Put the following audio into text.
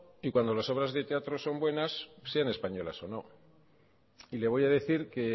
y cuando las obras de teatro son buenas sean españolas o no le voy a decir que